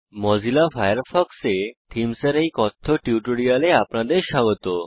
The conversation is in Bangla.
মোজিলা ফায়ারফক্সে থীমস এর এই কথ্য টিউটোরিয়ালে আপনাদের স্বাগত